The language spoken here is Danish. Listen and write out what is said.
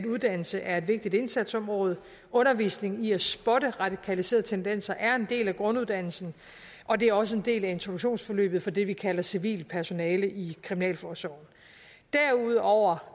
uddannelse er et vigtigt indsatsområde undervisning i at spotte radikaliserede tendenser er en del af grunduddannelsen og det er også en del af introduktionsforløbet for det vi kalder civilt personale i kriminalforsorgen derudover